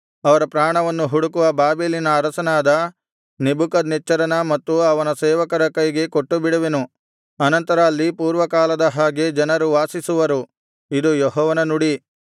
ಅವರ ಪ್ರಾಣವನ್ನು ಹುಡುಕುವ ಬಾಬೆಲಿನ ಅರಸನಾದ ನೆಬೂಕದ್ನೆಚ್ಚರನ ಮತ್ತು ಅವನ ಸೇವಕರ ಕೈಗೆ ಕೊಟ್ಟುಬಿಡುವೆನು ಅನಂತರ ಅಲ್ಲಿ ಪೂರ್ವಕಾಲದ ಹಾಗೆ ಜನರು ವಾಸಿಸುವರು ಇದು ಯೆಹೋವನ ನುಡಿ